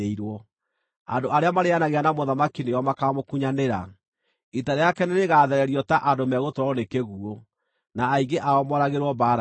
Andũ arĩa marĩĩanagĩra na mũthamaki nĩo makaamũkunyanĩra; ita rĩake nĩrĩgathererio ta andũ megũtwarwo nĩ kĩguũ, na aingĩ ao mooragĩrwo mbaara-inĩ.